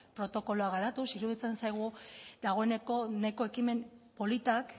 protokoloak garatuz iruditzen zaigu dagoeneko nahiko ekimen politak